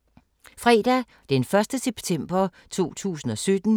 Fredag d. 1. september 2017